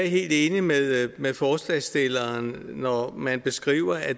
helt enig med med forslagsstillerne når man beskriver at